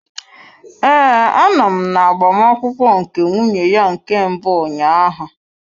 Ee, anọ m na agbamakwụkwọ nke nwunye ya nke mbụ ụnyaahụ.